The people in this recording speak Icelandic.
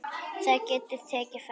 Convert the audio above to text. Það getur tekið frá